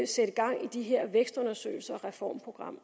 sætte gang i de her vækstundersøgelser og reformprogrammer